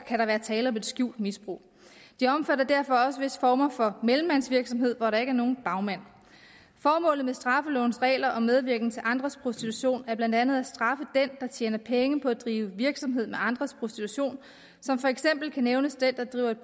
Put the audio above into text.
kan være tale om et skjult misbrug det omfatter derfor også visse former for mellemmandsvirksomhed hvor der ikke er nogen bagmand formålet med straffelovens regler om medvirken til andres prostitution er blandt andet at straffe den der tjener penge på at drive virksomhed med andres prostitution som eksempel kan nævnes den der driver et